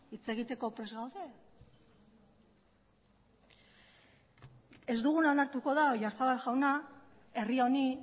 hitz egiteko prest gaude ez duguna onartuko da oyarzabal jauna herri honi